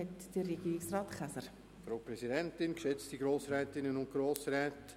Das Wort hat somit Regierungsrat Käser. .